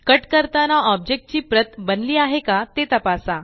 cut करताना object ची प्रत बनली आहे का ते तपासा